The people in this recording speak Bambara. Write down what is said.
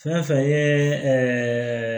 Fɛn fɛn ye